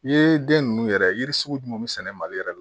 Yiriden ninnu yɛrɛ yiri sugu jumɛn bɛ sɛnɛ mali yɛrɛ la